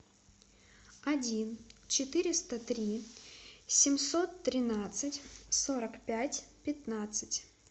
один четыреста три семьсот тринадцать сорок пять пятнадцать